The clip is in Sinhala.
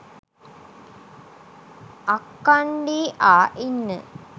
අක්කණ්ඩී ආ ඉන්න